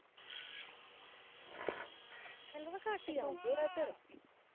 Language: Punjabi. ਘਟ ਹੀ ਆਉਂਦੀ ਹੈ ਇਧਰ